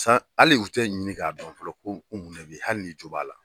san hali u tɛ ɲini k'a dɔn fɔlɔ ko ko mun de bɛ ye hali n'i jo b'a la.